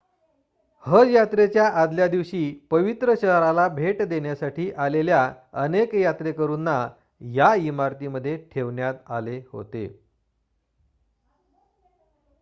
हज यात्रेच्या आदल्यादिवशी पवित्र शहराला भेट देण्यासाठी आलेल्या अनेक यात्रेकरूंना या इमारतीमध्ये ठेवण्यात आले होते